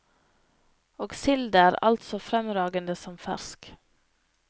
Og silda er altså fremragende som fersk.